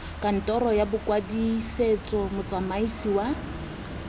kantoro ya bokwadisetso motsamaisi wa